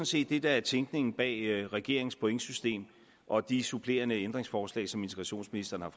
set det der er tænkningen bag regeringens pointsystem og de supplerende ændringsforslag som integrationsministeren har